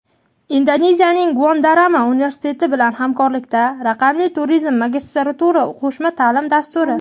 Indoneziyaning Gunadarma universiteti bilan hamkorlikdagi "Raqamli turizm" magistratura qo‘shma taʼlim dasturi;.